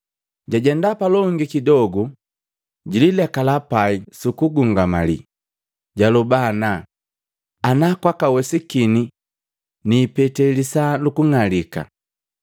Jajenda palongi kidogu, jililekala pai suku gungamali, jaloba ana, ana kwakawesikini, niipete lisaa luku ng'alika.